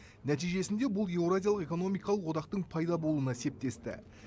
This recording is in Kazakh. нәтижесінде бұл еуразиялық экономикалық одақтың пайда болуына септесті